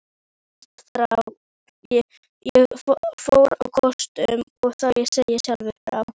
Ég fór á kostum, þó ég segi sjálfur frá.